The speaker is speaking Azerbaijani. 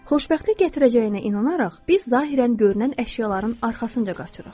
Xoşbəxtlik gətirəcəyinə inanaraq, biz zahirən görünən əşyaların arxasınca qaçırıq.